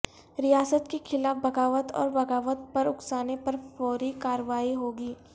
ریاست کے خلاف بغاوت اور بغاوت پر اکسانے پر فوری کارروائی ہو گی